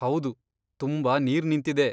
ಹೌದು, ತುಂಬಾ ನೀರ್ ನಿಂತಿದೆ.